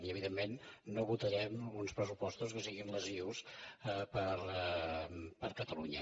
i evidentment no votarem uns pressupostos que siguin lesius per a catalunya